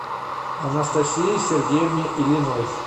анастасии сергеевне ильиной